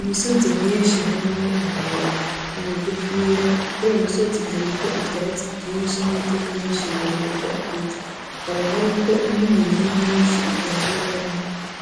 Imisozi myinshi harimwo imiremire n'imigufiya, kuriyo misozi hariho ivyatsi vyinshi n'ibiti vyinshi birebire vyakuze, hakaba hariko n'imirima myinshi itandukanye,